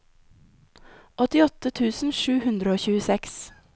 åttiåtte tusen sju hundre og tjueseks